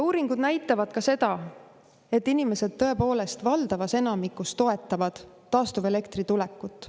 Uuringud näitavad ka seda, et inimesed tõepoolest valdavas enamikus toetavad taastuvelektri tulekut.